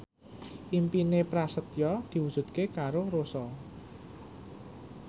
impine Prasetyo diwujudke karo Rossa